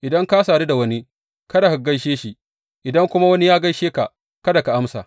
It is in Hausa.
Idan ka sadu da wani, kada ka gaishe shi, idan kuma wani ya gaishe ka, kada ka amsa.